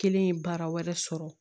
Kelen ye baara wɛrɛ sɔrɔ